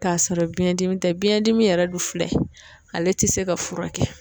K'a sɔrɔ biɲɛndimi tɛ, biɲɛn dimi yɛrɛ dun filɛ ale tɛ se ka furakɛ.